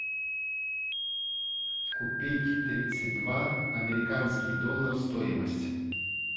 купить тридцать два американский доллар стоимость